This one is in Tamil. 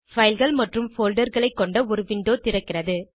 fileகள் மற்றும் folderகளை கொண்ட ஒரு விண்டோ திறக்கிறது